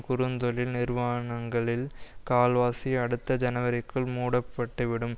குறுந்தொழில் நிறுவானங்களில் கால்வாசி அடுத்த ஜனவரிக்குள் மூடப்பட்டு விடும்